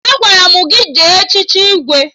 Agwara m gị jee echichi Igwe!